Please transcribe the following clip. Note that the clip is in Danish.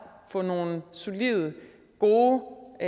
og få nogle solide gode